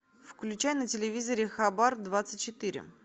включай на телевизоре хабар двадцать четыре